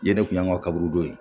Ɲɛnɛ kun y'an ka kaburudon ye